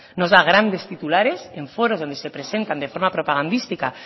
nos da grandes titulares en foros donde se presentan de forma propagandística